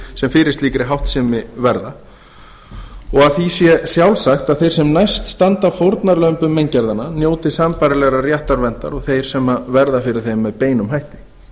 sem fyrir slíkri háttsemi verða og að því sé sjálfsagt að þeir sem næst standa fórnarlömbum meingerðanna njóti sambærilegrar réttarverndar og þeir sem verða fyrir þeim með beinum hætti